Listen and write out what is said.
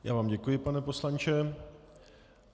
Já vám děkuji, pane poslanče.